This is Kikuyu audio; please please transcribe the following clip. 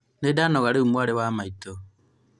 nĩndanoga rĩu mwarĩ wa maitũ